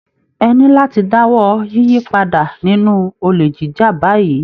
Ẹ ní láti dáwọ́ yípadà nínú olè jíjà báyìí.